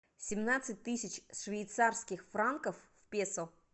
семнадцать тысяч швейцарских франков в песо